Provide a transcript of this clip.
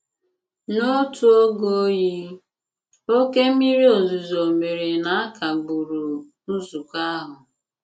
N'otu ògè oyi, okè mmìrì òzùzò mèré na a kagbùrù nzùkọ àhụ̀.